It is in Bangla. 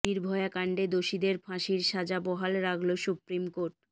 নির্ভয়া কাণ্ডে দোষীদের ফাঁসির সাজা বহাল রাখল সুপ্রিম কোর্ট